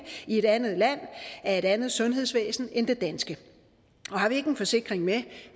i et andet land af et andet sundhedsvæsen end det danske har vi ikke en forsikring med